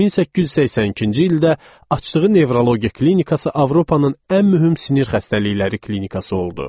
1882-ci ildə açdığı nevrologiya klinikası Avropanın ən mühüm sinir xəstəlikləri klinikası oldu.